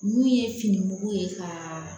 N'u ye fini mugu ye ka